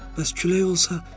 Bəs külək olsa?